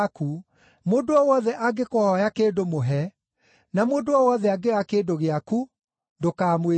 Mũndũ o wothe angĩkũhooya kĩndũ mũhe, na mũndũ o wothe angĩoya kĩndũ gĩaku, ndũkamwĩtie.